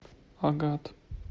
агат